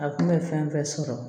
A kun bɛ fɛn fɛn sɔrɔ